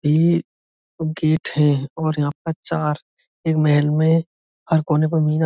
ये गेट है और यहाँ पर चार ये महल में हर कोने --